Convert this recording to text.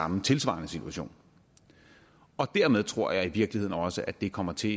en tilsvarende situation dermed tror jeg i virkeligheden også at det kommer til